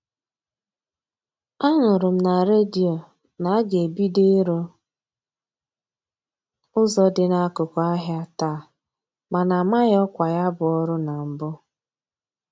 A nụrụ m na redio na-aga ebido ịrụ ụzọ dị n'akụkụ ahịa taa mana amaghị ọkwa ya bụ ọrụ na mbụ.